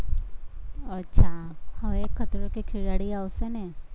અચ્છા હવે ખતરો કે ખિલાડી આવશે ને